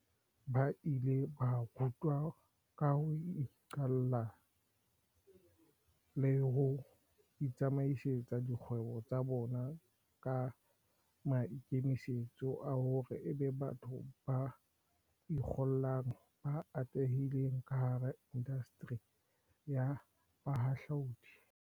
Ba ile ba rutwa ka ho iqalla le ho itsamaisetsa dikgwebo tsa bona, ka maikemisetso a hore ebe batho ba ikgollang ba atlehileng kahara indasteri ya bohahlaudi.